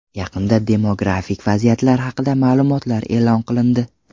Yaqinda demografik vaziyat haqida ma’lumotlar e’lon qilindi.